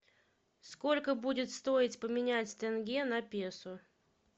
сколько будет стоить поменять тенге на песо